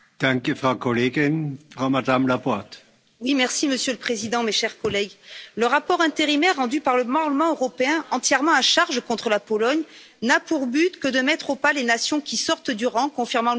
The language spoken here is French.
Monsieur le Président, mes chers collègues, le rapport intérimaire rendu par le Parlement européen, entièrement à charge contre la Pologne, n'a pour but que de mettre au pas les nations qui sortent du rang, confirmant l'uniformisation des nations que souhaite imposer Mme von der Leyen.